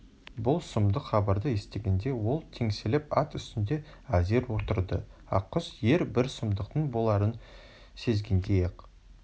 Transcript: бұл сұмдық хабарды естігенде ол теңселіп ат үстінде әзер отырды ақкөз ер бір сұмдықтың боларын сезгендей-ақ